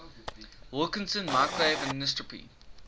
wilkinson microwave anisotropy